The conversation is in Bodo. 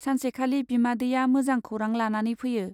सानसेखालि बिमादैया मोजां खौरां लानानै फैयो।